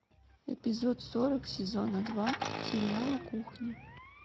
эпизод сорок сезона два сериала кухня